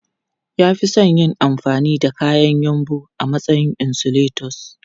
Ya fi son yin amfani da kayan yumbu a matsayin insulators.